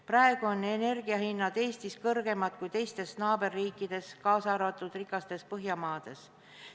Praegu on energiahinnad Eestis kõrgemad kui meie naaberriikides, kaasa arvatud rikastes Põhjamaades.